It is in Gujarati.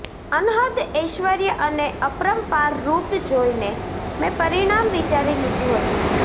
અનહદ ઐશ્વર્ય અને અપરંપાર રૂપ જોઈને મેં પરિણામ વિચારી લીધું હતું